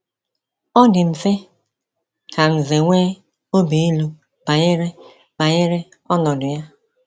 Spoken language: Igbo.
Ọ dị mfe ka Nze nwee obi ilu banyere banyere ọnọdụ ya!